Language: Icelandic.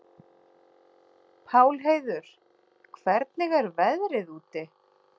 Pálheiður, hvernig er veðrið úti?